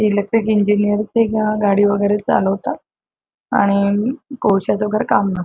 electric engineer गाडी वेगेरे चालवतात आणि कोळश्याच वेगेरे काम --